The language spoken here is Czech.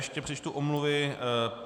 Ještě přečtu omluvy.